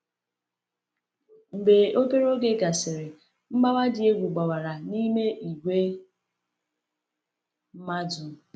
Mgbe obere oge gasịrị, mgbawa dị egwu gbawara n’ime ìgwè mmadụ.